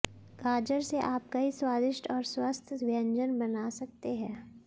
गाजर से आप कई स्वादिष्ट और स्वस्थ व्यंजन बना सकते हैं